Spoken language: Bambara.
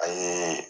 A ye